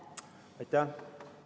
Aitäh!